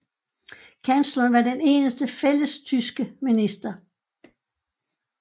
Kansleren var den eneste fællestyske minister